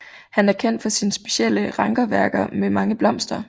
Han er kendt for sine specielle rankeværker med mange blomster